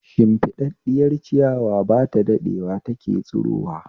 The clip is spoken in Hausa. Shimfiɗaɗɗiyar ciyawa ba ta daɗewa take tsirowa